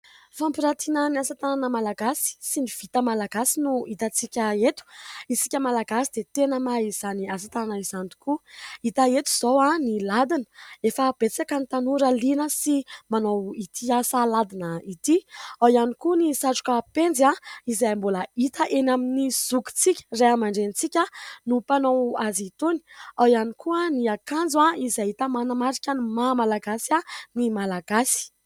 Fampirantina ny asa tanana malagasy sy ny vita malagasy no hitantsika eto. Isika Malagasy dia tena mahay izany asa tanana izany tokoa. Hita eto izao ny ladina efa betsaka ny tanora liana sy manao ity asa ladina ity, ao ihany koa ny satroka penjy izay mbola hita eny amin'ny zokitsika Ray aman-dRentsika no mpanao azy itony, ao ihany koa ny akanjo izay hita manamarika ny maha malagasy ny malagasy.